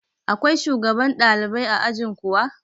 Akwai shugaban ɗalibai a ajin kuwa?